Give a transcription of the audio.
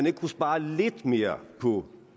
ikke spare lidt mere på